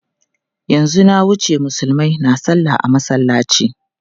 Yanzu na wuce Musulmai na salla a masallaci.